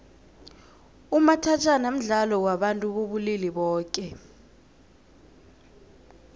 umathajhana mdlalo wabantu bobulili boke